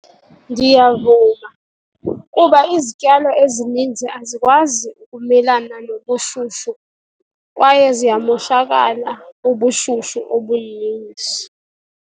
Ndiyavuma, kuba izityalo ezininzi azikwazi ukumelana nobushushu kwaye ziyamoshakala bubushushu obuninzi.